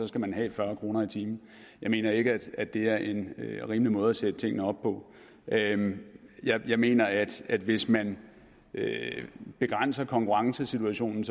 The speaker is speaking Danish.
skal man have fyrre kroner i timen jeg mener ikke at det er en rimelig måde at sætte tingene op på jeg mener at at hvis man begrænser konkurrencesituationen